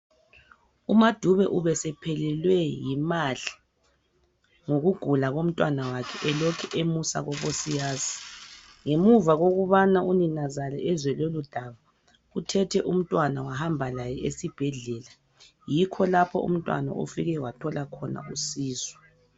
UMaDube ubesephelelwe yimali ngokugula komntanakhe elokhe emusa kubosiyazi. Ngemuva kokubana uninazala ezwe lolodaba, uthethe umntwana wahamba laye esibhedlela yikho lapho umntwana ofike wathola khona usizo.